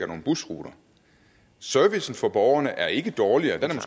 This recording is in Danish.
nogle busruter servicen for borgerne er ikke dårligere den er